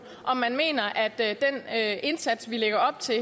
om man mener at indsats vi lægger op til